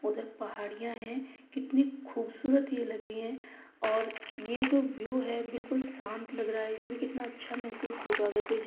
और उधर पहाड़ियां है कितने खूबसूरत ये लग रही है और ये जो व्यू है बिलकुल शांत लग रहा है। इसमें कितना अच्छा महसूस होगा अगर कोई जा --